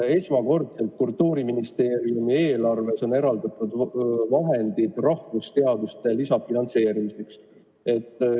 Esmakordselt on Kultuuriministeeriumi eelarves eraldatud vahendid rahvusteaduste lisafinantseerimiseks.